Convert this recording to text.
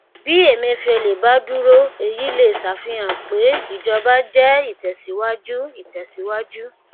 bí emefiele bá dúró èyí lè ṣàfihàn pé ìjọba jẹ ìtẹsíwájú ìtẹsíwájú